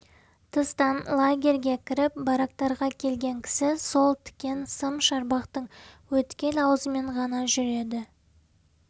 тыстан лагерьге кіріп барактарға келген кісі сол тікен сым шарбақтың өткел аузымен ғана жүреді